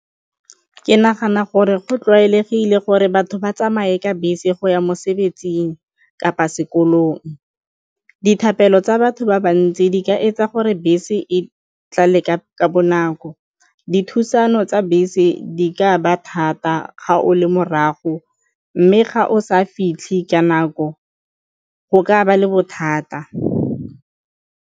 Ke nagana gore go tlwaelegile gore batho ba tsamaye ka bese go ya mosebetsing kapa sekolong. Dithapelo tsa batho ba ba ntsi di ka etsa gore bese e tlale ka bonako, dithulano tsa bese di ka ba thata ga o le morago mme ga o sa fitlhe ka nako go ka ba le bothata.